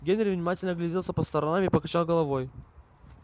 генри внимательно огляделся по сторонам и покачал головой